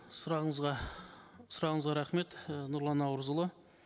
сұрағыңызға сұрағыңызға рахмет і нұрлан наурызұлы